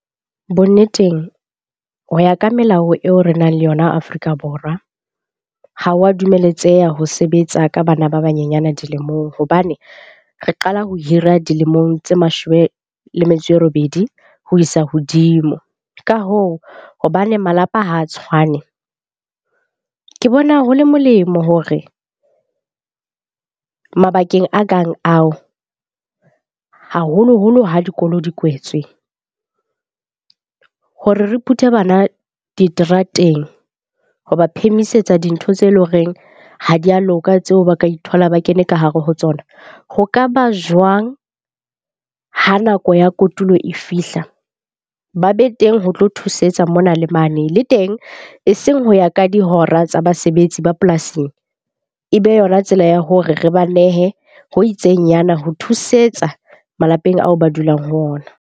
Bonneteng ho ya ka melao eo re nang le yona Afrika Borwa ha wa dumeletseha ho sebetsa ka bana ba banyenyana dilemong. Hobane re qala ho hira dilemong tse mashome le metso e robedi ho isa hodimo. Ka hoo, hobane malapa ha a tshwane, ke bona ho le molemo hore mabakeng a kang ao, haholoholo ha dikolo di kwetswe. Hore re phuthe bana diterateng hoba phemisetsa dintho tse leng horeng ha di ya loka tseo ba ka ithola ba kene ka hare ho tsona. Ho ka ba jwang ha nako ya kotulo e fihla, ba be teng ho tlo thusetsa mona le mane le teng, e seng ho ya ka dihora tsa basebetsi ba polasing. E be yona tsela ya hore re ba nehe ho itsengnyana ho thusetsa malapeng ao ba dulang ho ona.